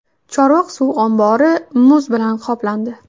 Chorvoq suv ombori muz bilan qoplandi.